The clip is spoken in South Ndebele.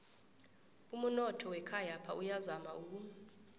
umunotho wekhayapha uyazama uku